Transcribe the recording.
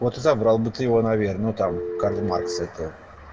вот и забрал бы ты его наверно там карл маркс этого